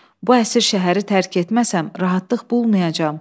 Bu əsir şəhəri tərk etməsəm rahatlıq bulmayacam.